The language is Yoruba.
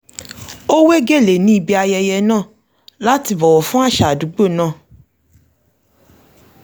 ó wé gèlè ní ibi ayẹyẹ náà láti bọ̀wọ̀ fún àṣà àdúgbò náà